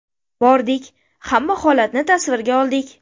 Bordik, hamma holatni tasvirga oldik.